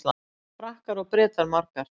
Hvað eiga Frakkar og Bretar margar?